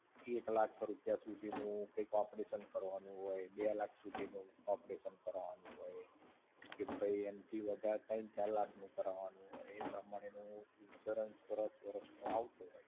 એક લાખ રૂપિયા સુધી નું કંઈક operation કરવાનું હોય, બે લાખ સુધી નું operation કરવાનું હોય, કે ભઈ એનથી વધારે તૈણ-ચાર લાખ નું કરાવાનું હોય, તો એ તમારે એનું insurance વર્ષ વર્ષ નું આવતું હોય.